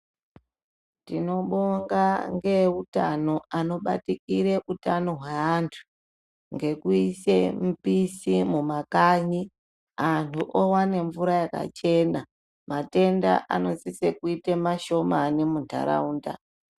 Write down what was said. Tinobonga nehutano anobatikira hutano hwevantu nekuisa milisi mumakanyi vantu vowana mvura yakachena matenda anosisa kuita mashomani mundaraunda.